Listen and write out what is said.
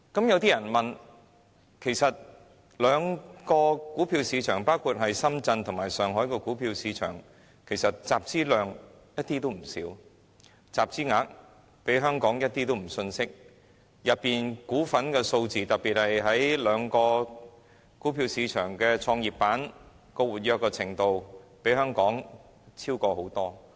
有些人會問，其實兩大股票市場，包括深圳和上海的股票市場的集資量一點也不少，集資額亦絕不遜色於香港股份數字，特別是兩個股票市場的創業板的活躍程度，更遠超於香港。